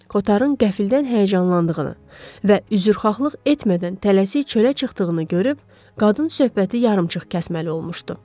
Kotarın qəfildən həyəcanlandığını və üzrxahlıq etmədən tələsik çölə çıxdığını görüb, qadın söhbəti yarımçıq kəsməli olmuşdu.